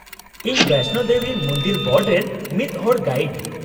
-ᱤᱧ ᱵᱚᱭᱥᱱᱳ ᱫᱮᱵᱤ ᱢᱩᱱᱫᱤᱞ ᱵᱳᱨᱰ ᱨᱮᱱ ᱢᱤᱫ ᱦᱚᱲ ᱜᱟᱭᱤᱰ ᱾